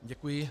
Děkuji.